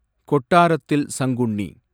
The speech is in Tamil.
கொட்டாரத்தில் சங்குன்னி